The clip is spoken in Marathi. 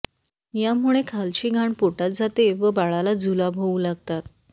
यामुळे खालची घाण पोटात जाते व बाळाला जुलाब होऊ लागतात